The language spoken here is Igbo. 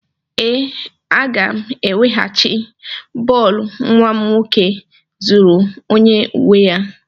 Ee, aga m eweghachi bọọlụ nwa m nwoke zuru onye nwe ya.